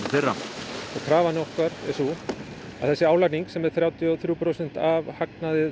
þeirra því krafan okkar er sú að þessi álagning sem er þrjátíu og þrjú prósent af hagnaði